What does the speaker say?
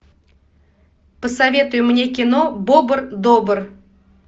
посоветуй мне кино бобр добр